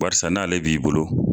Barisa n'ale b'i bolo